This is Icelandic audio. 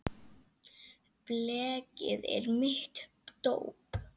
Blekið er mitt dóp.